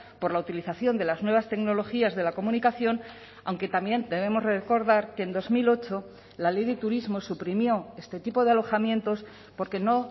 por la utilización de las nuevas tecnologías de la comunicación aunque también debemos recordar que en dos mil ocho la ley de turismo suprimió este tipo de alojamientos porque no